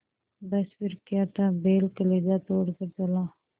बस फिर क्या था बैल कलेजा तोड़ कर चला